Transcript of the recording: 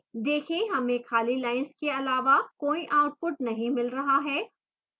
देखें हमें खाली lines के अलावा कोई output नहीं मिल रहा है